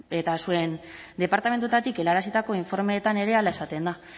eta zuen departamentuetatik helarazitako informeetan ere hala esaten da